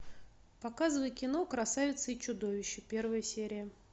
показывай кино красавица и чудовище первая серия